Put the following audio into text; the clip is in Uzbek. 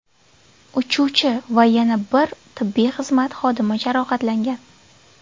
Uchuvchi va yana bir tibbiy xizmat xodimi jarohatlangan.